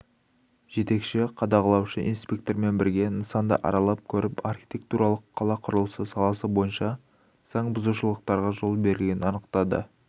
жетекші қадағалаушы инспектормен бірге нысанды аралап көріп архитектуралық қала құрылысы саласы бойынша заңбұзушылықтарға жол берілгенін анықтады